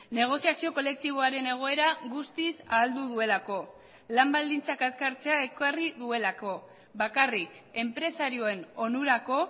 negoziazio kolektiboaren egoera guztiz ahaldu duelako lan baldintzak azkartzea ekarri duelako bakarrik enpresarioen onurako